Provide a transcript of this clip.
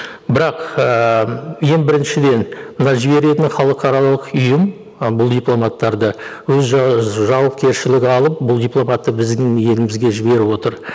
бірақ ыыы ең біріншіден мына жіберетін халықаралық ұйым і бұл дипломаттарды өз жауапкершілігі алып бұл дипломатты біздің елімізге жіберіп отыр